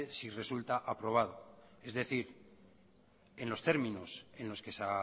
si resulta aprobado es decir en los términos en los que se